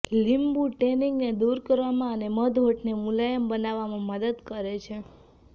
લીંબુ ટેનિંગને દૂર કરવામાં અને મધ હોઠને મુલાયમ બનાવવામાં મદદ કરે છે